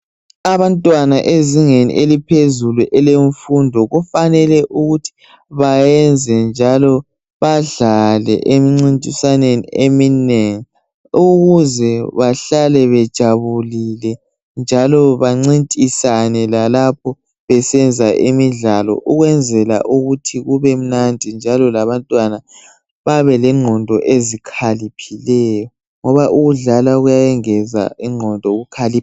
Abantwana ezingeni eliphezulu elemfundo kufanele ukuthi bayenze njalo badlale emcintiswaneni eminengi ukuze bahlale bejabulile njalo bancintisane lalapho besenza imidlalo ukwenzela ukuthi kubemnandi njalo labantwana babelengqondo ezikhaliphileyo, ngoba ukudlala kuyayengeza ingqondo yokukhalipha.